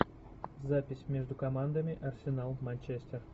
запись между командами арсенал манчестер